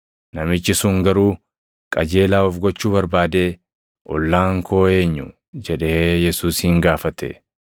Namichi sun garuu qajeelaa of gochuu barbaadee, “Ollaan koo eenyu?” jedhee Yesuusin gaafate.